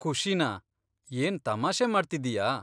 ಖುಷಿನಾ? ಏನ್ ತಮಾಷೆ ಮಾಡ್ತಿದ್ದೀಯಾ?